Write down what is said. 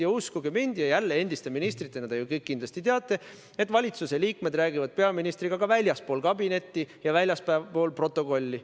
Ja uskuge mind – ja jälle, endiste ministritena te ju kindlasti teate –, et valitsuse liikmed räägivad peaministriga ka väljaspool kabinetti ja väljaspool protokolli.